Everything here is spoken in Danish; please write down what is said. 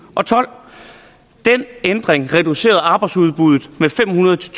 og tolv den ændring reducerer arbejdsudbuddet med fem hundrede til